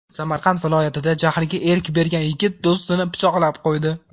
Samarqand viloyatida jahliga erk bergan yigit do‘stini pichoqlab qo‘ydi.